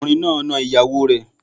Ọkùnrin náà na ìyàwó rẹ̀